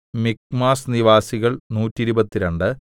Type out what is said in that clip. മിക്മാസ് നിവാസികൾ നൂറ്റിരുപത്തിരണ്ട്